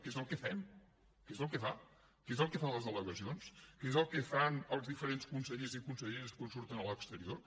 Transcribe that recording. que és el que fem que és el que fa que és el que fan les delegacions que és el que fan els diferents consellers i conselleres quan surten a l’exterior